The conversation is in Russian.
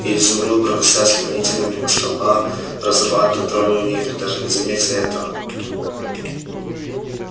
и изумруд проносясь стремительно мимо столба разрывает контрольную нитку даже не заметя этого